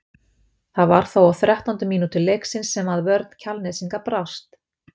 Það var þó á þrettándu mínútu leiksins sem að vörn Kjalnesinga brást.